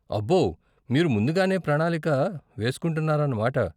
అబ్బో, మీరు ముందుగానే ప్రణాళిక వేస్కుంటున్నారన్న మాట.